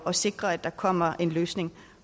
at sikre at der kommer en løsning